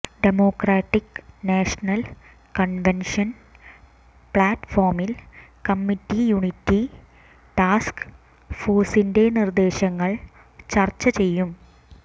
Democratic National Convention ഫ്ലാറ്റ് ഫോമിൽ committee unity task ഫോഴ്സിന്റെ നിർദ്ദേശങ്ങൾ ചർച്ച ചെയ്യും